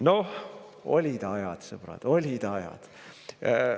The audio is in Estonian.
Noh, olid ajad, sõbrad, olid ajad!